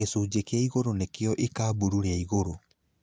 Gĩcunjĩ kĩa igũrũ nĩkĩo ikaburu rĩa igũrũ.